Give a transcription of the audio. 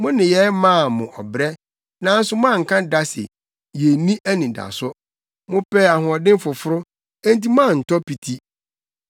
Mo nneyɛe maa mo ɔbrɛ, nanso moanka da se, ‘Yenni anidaso.’ Mopɛɛ ahoɔden foforo enti moantɔ piti.